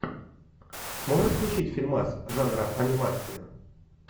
можешь включить фильмас жанра анимация